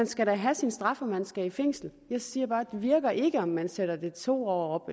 skal have sin straf og at man skal i fængsel jeg siger bare det virker ikke om man sætter det to år